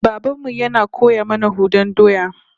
Baban mu yana koya mana hudan doya